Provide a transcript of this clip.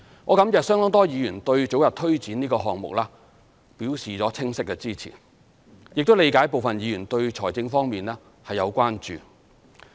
我感謝相當多議員對早日推展這個項目表示了清晰的支持，亦理解部分議員對財政方面有關注。